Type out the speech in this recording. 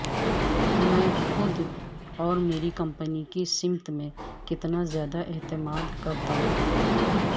میں خود اور میری کمپنی کی سمت میں کتنا زیادہ اعتماد کرتا ہوں